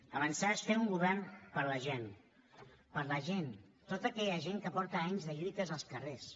avançar és fer un govern per a la gent per a la gent tota aquella gent que porta anys de lluites als carrers